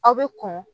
Aw bɛ kɔn